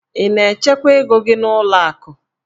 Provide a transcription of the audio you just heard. Ị na-echekwa ego gị n'ụlọ akụ?